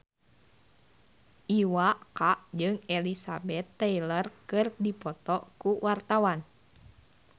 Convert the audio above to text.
Iwa K jeung Elizabeth Taylor keur dipoto ku wartawan